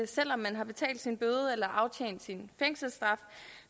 selv om man har betalt sin bøde eller afsonet sin fængselsstraf